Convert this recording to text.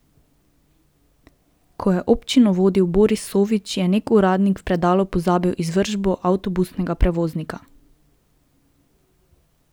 Ko je občino vodil Boris Sovič, je neki uradnik v predalu pozabil izvršbo avtobusnega prevoznika.